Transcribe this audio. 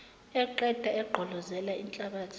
eqeda egqolozela inhlabathi